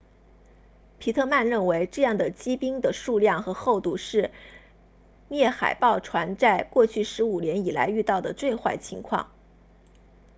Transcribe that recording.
皮特曼 pittman 认为这样的积冰的数量和厚度是猎海豹船在过去15年以来遇到的最坏情况